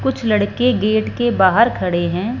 कुछ लड़के गेट के बाहर खड़े हैं।